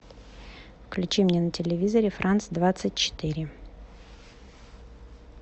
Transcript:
включи мне на телевизоре франц двадцать четыре